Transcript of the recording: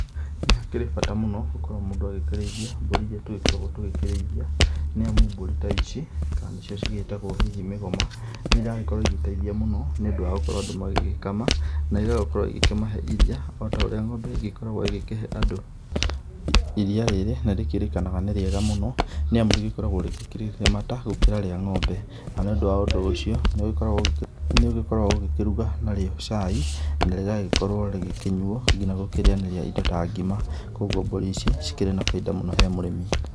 Nĩ hakĩrĩ bata mũno gũkorwo mũndũ agĩkĩrĩithia mbũri iria tũgĩkoragwo tũgĩkĩrĩithia. Nĩamu mbũri ta ici, kana nĩcio cigĩtagwo hihi mĩgoma, nĩiragĩkorwo igĩteithia mũno ni ũndũ wa gũkorwo andũ magĩgĩkama. Na ĩgagĩkorwo ikĩmahe iria, o ta ũrĩa ng'ombe ĩgĩkoragwo ĩgĩkĩhe. Iria rĩrĩ nĩrĩkĩrĩkanaga nĩ rĩega mũno, nĩamu rĩgĩkoragwo rĩkĩrĩ rĩmata gũkĩra rĩa ng'ombe. Na nĩ ũndũ wa ũndũ ũcio, nĩũgĩkoragwo ũgĩkĩruga narĩo cai, na rĩgagĩkorwo rĩgĩkĩnyuo nginya gũkĩrĩanĩria indo ta ngima. Kogwo mbũri ici cikĩrĩ na baida mũno he mũrĩmi.